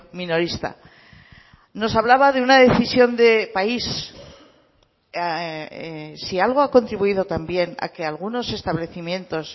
minorista nos hablaba de una decisión de país si algo ha contribuido también a que algunos establecimientos